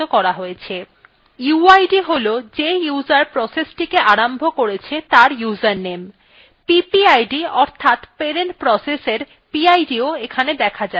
uid has যে user processটিকে আরম্ভ করেছে তার user name ppid অর্থাৎ parent processএর pidও এখানে দেখা যাচ্ছে